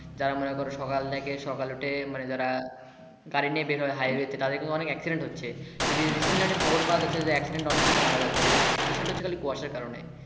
যারা মনে করো সকাল থেকে সকালে ওঠে যারা গাড়ি নিয়ে বের হয় highway তে তাদের কিন্তু অনেক accident হচ্ছে Risen line খবর পাওয়া যাচ্ছে এই বিষয়টা হচ্ছে খালি কুয়াশার কারণে